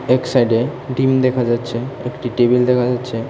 এক সাইডে ডিম দেখা যাচ্ছে একটি টেবিল দেখা যাচ্ছে।